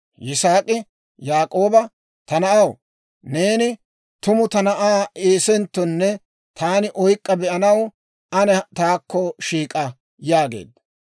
Yisaak'i Yaak'ooba, «Ta na'aw, neeni tumu ta na'aa Eesenttonne taani oyk'k'a be'anaw ane taakko shiik'a» yaageedda.